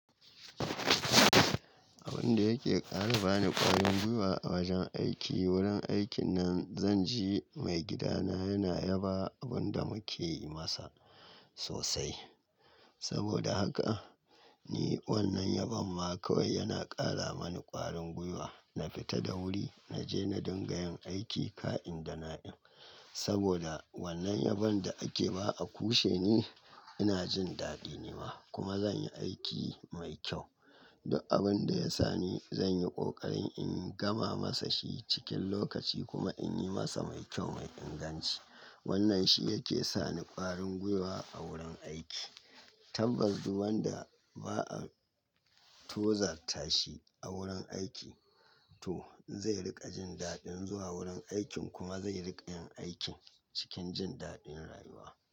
Abin da yake ƙara bani ƙwarin gwiwa a wajen aiki, wurin aikin nan, zan ji maigidana yana yaba abin da muke yi masa sosai. Saboda haka, ni wannan yabon ma kawai yana ƙara mani ƙwarin gwiwa. Na fita da wuri, na je na dinga yin aiki ka'in da na in. Saboda wannan yabon da ake ba a kushe ni, ina jin daɗi ni ma, kuma zan yi aiki mai kyau. Duk abin da ya sani zan yi ƙoƙarin in gama masa shi cikin lokaci kuma in yi masa mai kyau mai inganci. Wannan shi yake sa ni ƙwarin gwiwa a wurin aiki. Tabbas, duk wanda ba a tozartashi a wurin aiki to zai riƙa jin daɗin zuwa wurin aikin kuma zai riƙa yin aikin cikin jin daɗin rayuwa.